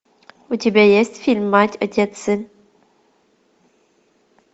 у тебя есть фильм мать отец сын